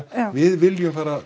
við viljum fara